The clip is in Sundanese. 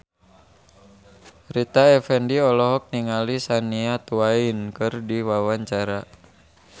Rita Effendy olohok ningali Shania Twain keur diwawancara